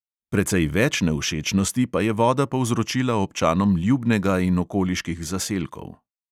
Precej več nevščečnosti pa je voda povzročila občanom ljubnega in okoliških zaselkov.